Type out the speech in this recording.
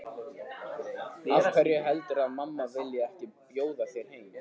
Af hverju heldurðu að mamma vilji ekki bjóða þér heim?